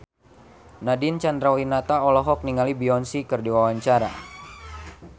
Nadine Chandrawinata olohok ningali Beyonce keur diwawancara